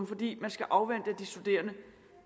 fordi man skal afvente at de studerende